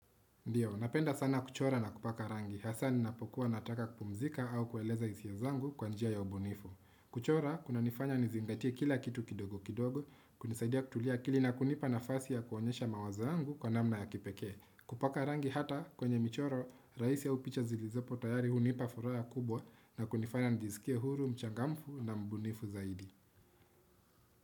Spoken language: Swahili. Ndiyo, napenda sana kuchora na kupaka rangi, hasa ninapokuwa nataka kupumzika au kueleza hisia zangu kwa njia ya ubunifu. Kuchora, kuna nifanya nizingatia kila kitu kidogo kidogo, kunisaidia kutulia akili na kunipa nafasi ya kuonyesha mawazo yangu kwa namna ya kipeke. Kupaka rangi hata kwenye michoro, raisi aupicha zilizopo tayari hunipa furaha kubwa na kunifanya nijiskie huru, mchangamfu na mbunifu zaidi.